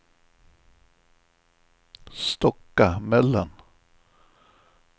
Stockamöllan